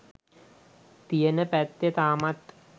තියෙන පැත්තේ තාමත්